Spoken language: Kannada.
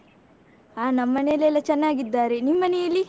ಹ ನಮ್ಮನೇಲೆಲ್ಲ ಚೆನ್ನಾಗಿದ್ದಾರೆ, ನಿಮ್ಮನೇಲಿ?